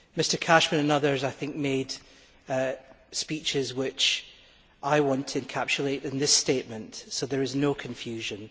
Mr Cashman and others, I think, made speeches which I want to encapsulate in this statement so that there is no confusion.